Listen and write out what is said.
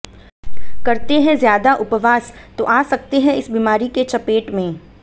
करते हैं ज्यादा उपवास तो आ सकते हैं इस बीमारी के चपेट में